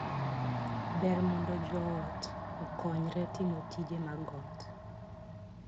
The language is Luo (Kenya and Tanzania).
Ber mondo joot okonyre timo tije mag ot.